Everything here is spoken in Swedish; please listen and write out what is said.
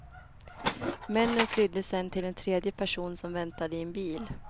Männen flydde sedan till en tredje person som väntade i en bil.